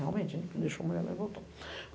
Realmente, deixou a mulher lá e voltou.